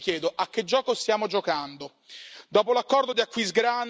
E quindi, cari colleghi, io vi chiedo a che gioco stiamo giocando?